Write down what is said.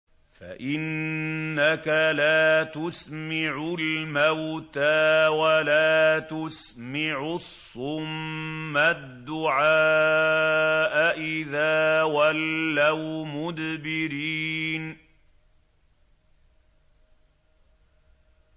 فَإِنَّكَ لَا تُسْمِعُ الْمَوْتَىٰ وَلَا تُسْمِعُ الصُّمَّ الدُّعَاءَ إِذَا وَلَّوْا مُدْبِرِينَ